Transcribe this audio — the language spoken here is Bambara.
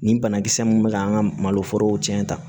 Nin banakisɛ mun be k'an ka malo forow cɛn